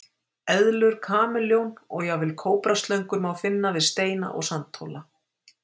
Eðlur, kameljón og jafnvel kóbraslöngur má finna við steina og sandhóla.